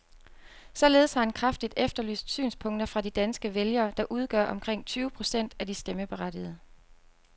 Således har han kraftigt efterlyst synspunkter fra de danske vælgere, der udgør omkring tyve procent af de stemmeberettigede.